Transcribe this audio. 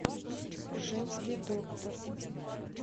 женский доктор